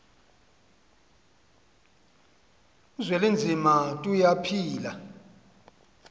uzwelinzima tuya phila